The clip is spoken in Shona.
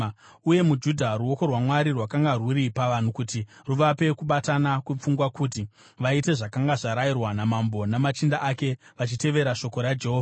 Uye muJudha ruoko rwaMwari rwakanga rwuri pavanhu kuti ruvape kubatana kwepfungwa kuti vaite zvakanga zvarayirwa namambo namachinda ake vachitevera shoko raJehovha.